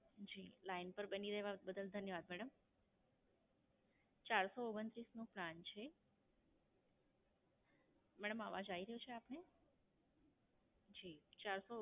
જી, Line પર બની રહેવા બદલ ધન્યવાદ મેડમ. ચારસો ઓગણત્રીસ નો Plan છે. મેડમ અવાજ આવી રહ્યો છે આપને? જી, ચારસો